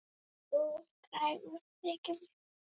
Þú ert kræfur, þykir mér.